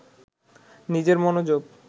নিজের মনোযোগ